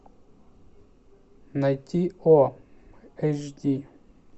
найти о эйч ди